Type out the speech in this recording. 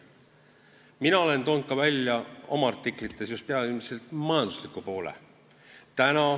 Mina olen oma artiklites toonud välja just peamiselt majandusliku poole.